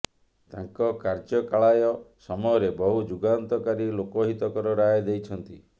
ତାଙ୍କ କାର୍ଯ୍ୟକାଳୟ ସମୟରେ ବହୁ ଯୁଗାନ୍ତକାରୀ ଲୋକହିତକର ରାୟ ଦେଇଛନ୍ତି